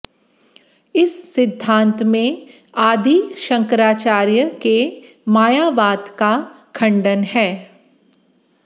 इस सिद्धांत में आदि शंकराचार्य के मायावाद का खंडन है